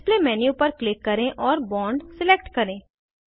display menu पर click करें और बोंड सिलेक्ट करें